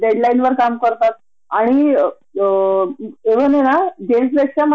नेहमिच अस बायका मध्ये आणि मुलांमध्ये का फरक करतात म्हणजे अस कि मुल मंझे